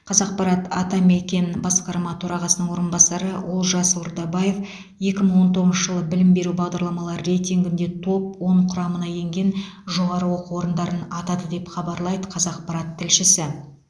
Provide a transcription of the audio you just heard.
қазақпарат атамекен басқарма төрағасының орынбасары олжас ордабаев екі мың он тоғызыншы жылы білім беру бағдарламалары рейтингінде топ он құрамына енген жоғары оқу орындарын атады деп хабарлайды қазақпарат тілшісі